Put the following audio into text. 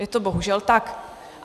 Je to bohužel tak.